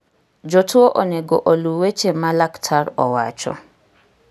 Jotuo onego oluw weche ma laktar owacho.